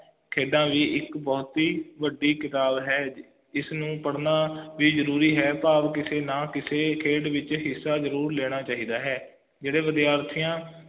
ਖੇਡਾਂ ਵੀ ਇੱਕ ਬਹੁਤ ਹੀ ਵੱਡੀ ਕਿਤਾਬ ਹੈ ਜਿਸ ਨੂੰ ਪੜ੍ਹਨਾ ਵੀ ਜ਼ਰੂਰੀ ਹੈ ਭਾਵ ਕਿਸੀ ਨਾ ਕਿਸੀ ਖੇਡ ਵਿਚ ਹਿੱਸਾ ਜ਼ਰੂਰ ਲੈਣਾ ਚਾਹੀਦਾ ਹੈ